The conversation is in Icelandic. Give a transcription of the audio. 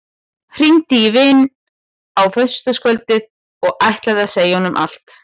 Hringdi í vininn á föstudagskvöldið og ætlaði að segja honum allt.